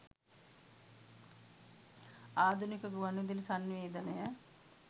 ආධුනික ගුවන්විද‍ුලි සන්නිවේදනය